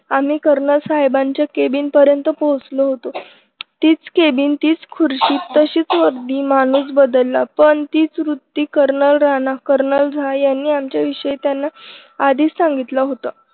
आम्ही कर्नल साहेबांच्या केबिन पर्यंत पोहोचलो होतो. तीच केबिन तीच खुर्ची तशीच वर्दी माणूस बदलला पण तीच वृत्ती कर्नल राणा कर्नलझा यांनी आमच्या विषयी त्यांना आधीच सांगितलं होत.